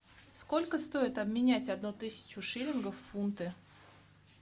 сколько стоит обменять одну тысячу шиллингов в фунты